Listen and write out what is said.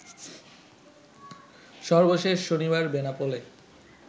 সর্বশেষ শনিবার বেনাপোলে